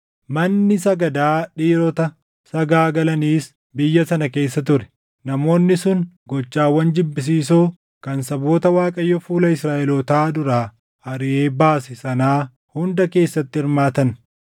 Manni sagadaa dhiirota sagaagalaniis biyya sana keessa ture; namoonni sun gochawwan jibbisiisoo kan saboota Waaqayyo fuula Israaʼelootaa duraa ariʼee baase sanaa hunda keessatti hirmaatan.